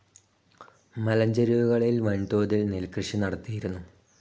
മലഞ്ചെരുവുകളിൽ വൻതോതിൽ നെൽകൃഷി നടത്തിയിരുന്നു.